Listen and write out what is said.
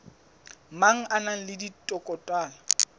mang a na le dikotola